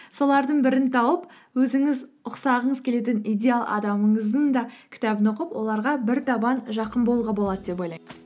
солардың бірін тауып өзіңіз ұқсағыңыз келетін идеал адамыңыздың да кітабын оқып оларға бір табан жақын болуға болады деп ойлаймын